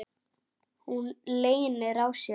Hún leynir á sér.